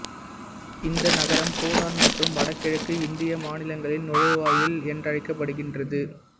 இந்த நகரம் பூடான் மற்றும் வடகிழக்கு இந்திய மாநிலங்களின் நுழைவாயில் என்றழைக்கப்படுகின்றது